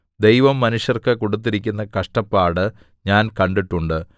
ദൈവം മനുഷ്യർക്ക് കൊടുത്തിരിക്കുന്ന കഷ്ടപ്പാട് ഞാൻ കണ്ടിട്ടുണ്ട്